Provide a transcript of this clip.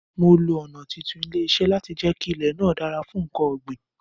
Mo lo ọ̀nà títún ilẹ̀ ṣe láti jẹ kí ilè náà dára fún nkan ọ̀ gbìn